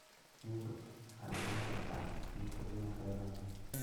Shinnidu waxay u dhiman kartaa kiimikooyin waxyeello leh.